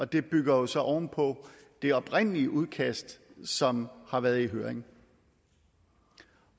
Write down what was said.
det bygger jo så oven på det oprindelige udkast som har været i høring